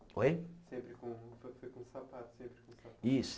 Oi? Sempre com com sapato? Isso